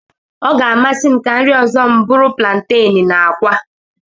Ọ ga-amasị m ka nri ọzọ m bụrụ plantenu na akwa.